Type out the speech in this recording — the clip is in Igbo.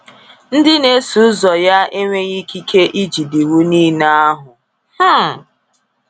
Ndị n'eso ụzọ ya enweghị ikike ijide iwu niile ahụ. um